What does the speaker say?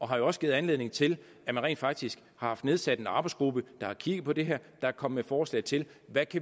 har jo også givet anledning til at man rent faktisk har haft nedsat en arbejdsgruppe der har kigget på det her og er kommet med forslag til hvad